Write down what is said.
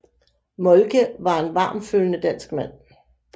Moltke var en varmtfølende dansk mand